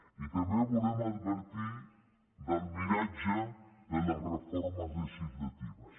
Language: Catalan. i també volem advertir del miratge de la reformes legislatives